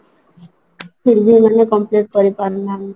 फिर भी ଏମାନେ complete କରିପାରୁନାହାନ୍ତି